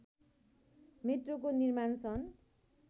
मेट्रोको निर्माण सन्